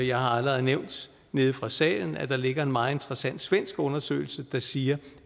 jeg har allerede nævnt nede fra salen at der ligger en meget interessant svensk undersøgelse der siger